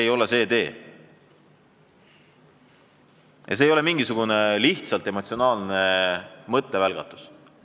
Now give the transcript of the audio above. Ja see ettepanek ei ole mingisugune emotsionaalne mõttevälgatus.